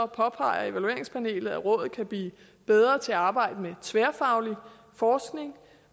påpeger evalueringspanelet at rådet kan blive bedre til at arbejde med tværfaglig forskning